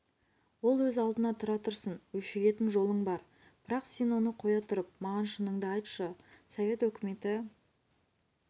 ол өз алдына тұра тұрсын өшігетін жолың бар бірақ сен оны қоя тұрып маған шыныңды айтшы совет өкіметі